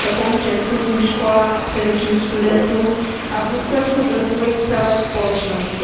To pomůže vysokým školám a především studentům a v důsledku rozvoji celé společnosti.